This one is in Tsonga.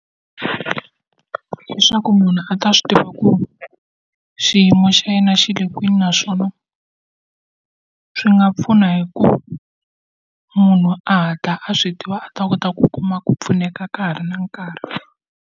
Leswaku munhu a ta swi tiva ku xiyimo xa yena xi le kwini naswona, swi nga pfuna hi ku munhu a ta a swi tiva a ta kota ku kuma ku pfuneka ka ha ri na nkarhi.